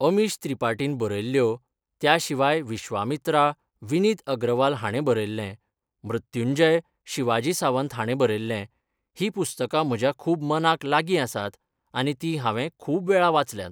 अमीश त्रिपाटीन बरयल्ल्यो, त्या शिवाय 'विश्वमित्रा' विनीत अग्रवाल हाणें बरयल्लें, 'मृत्युंजय' शिवाजी सावंत हाणें बरयल्लें हीं पुस्तकां म्हज्या खूब मनाक लागीं आसात आनी तीं हांवें खूब वेळा वाचल्यात.